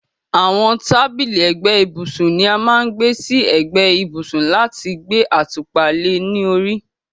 àwọn tábìlì ẹ̀gbẹ́ ibùsùn ni a má ń gbé sí ẹ̀gbẹ́ ibùsùn láti gbé àtùpà le ní orí